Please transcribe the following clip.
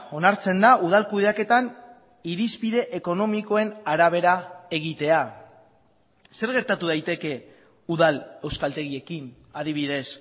onartzen da udal kudeaketan irizpide ekonomikoen arabera egitea zer gertatu daiteke udal euskaltegiekin adibidez